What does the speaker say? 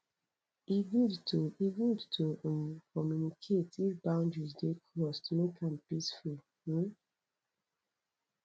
e good to e good to um communicate if boundaries dey crossed make am peaceful um